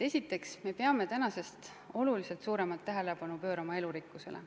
Esiteks, me peame oluliselt suuremat tähelepanu pöörama elurikkusele.